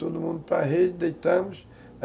Todo mundo para a rede, deitamos.